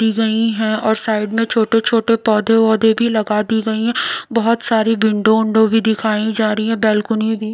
दी गई है और साइड में छोटे छोटे पौधे औधे भी लगा दी गई है बहोत सारी विंडो उन्डो भी दिखाई जा रही है बालकनी --